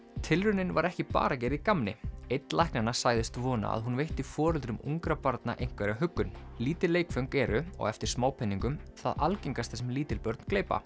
tilraunin var ekki bara gerð í gamni einn læknanna sagðist vona að hún veitti foreldrum ungra barna einhverja huggun lítil leikföng eru á eftir smápeningum það algengasta sem lítil börn gleypa